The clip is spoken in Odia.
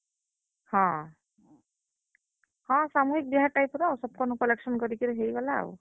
ହଁ, ହଁ, ସାମୁହିକ ବିହା type ର ସମଙ୍କର୍ ନୁ collection କରିକି ହେଇଗଲା ଆଉ।